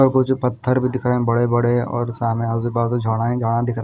और वो जो पत्थर भी दिख रहे बड़े-बड़े और सामने आजू-बाजू झाड़ा ही झाड़ा दिख रहा है।